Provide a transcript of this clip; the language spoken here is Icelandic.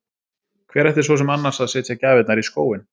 Hver ætti svo sem annars að setja gjafirnar í skóinn?